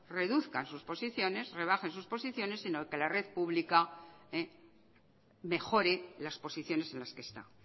reduzcan sus posiciones rebajen sus posiciones sino que la red pública mejore las posiciones en las que está